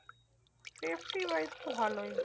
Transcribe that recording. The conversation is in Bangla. Safety wise তো ভালোই।